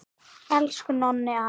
Elsku Nonni afi!